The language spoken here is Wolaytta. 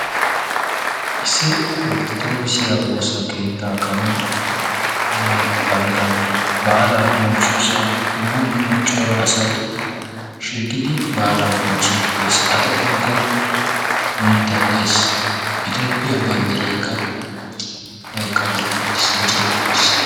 Issi orttodookisiya woosa keettaa karen ee bantta baalaa bonchchiyosan dumma dumma cora asay. shiiqidi baala bonchchiiddi de"es. A xaphonkka mittay de"es itoophiya banddirayikka kaqetti uttis micetti uttis.